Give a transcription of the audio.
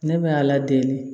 Ne bɛ a ladege